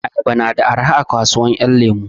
Ayaba na da arha a kasuwan 'yan lemu.